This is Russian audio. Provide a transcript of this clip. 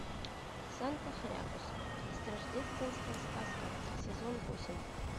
санта хрякус рождественская сказка сезон восемь